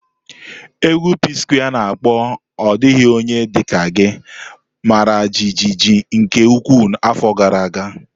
Égwù PSquare's ana akpo 'Ọ Dịghị Onye Dị Ka Gị' mara jijiji nke ukwuu afọ gara aga.